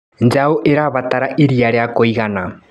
Njaũ ĩrabatara iria ria kũigana.